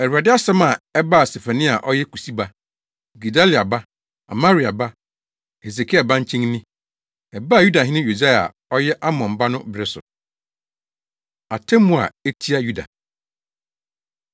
Awurade asɛm a ɛbaa Sefania a ɔyɛ Kusi ba, Gedalia ba, Amaria ba, Hesekia ba nkyɛn ni. Ɛbaa Yudahene Yosia a ɔyɛ Amon ba no bere so. Atemmu A Etia Yuda